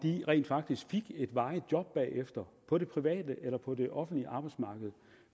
rent faktisk fik et varigt job bagefter på det private eller på det offentlige arbejdsmarked